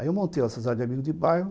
Aí eu montei a sociedade de amigos de bairro,